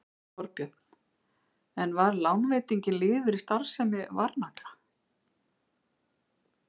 Þorbjörn: En var lánveitingin liður í starfsemi Varnagla?